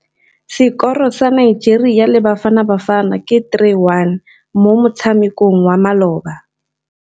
Sekôrô sa Nigeria le Bafanabafana ke 3-1 mo motshamekong wa malôba.